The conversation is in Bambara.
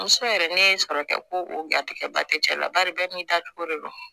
Muso yɛrɛ ne ye n sɔrɔ kɛ ko o garijɛgɛba tɛ cɛ la bari bɛɛ n'i dacogo de don